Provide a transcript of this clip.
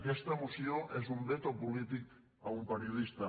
aquesta moció és un veto polític a un periodista